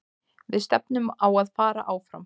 Við stefnum á að fara áfram.